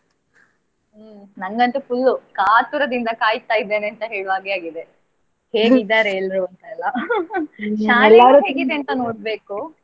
ನಂಗಂತು full ಕಾತುರದಿಂದ ಕಾಯ್ತಾ ಇದ್ದೇನೆ ಅಂತ ಹೇಳುವ ಹಾಗೆ ಆಗಿದೆ ಹೇಗಿದ್ದಾರೆ ಎಲ್ಲರೂ ಅಂತ ಎಲ್ಲಾ. ಶಾಲೆ ಹೇಗಿದೆ ಅಂತ ನೋಡ್ಬೇಕು.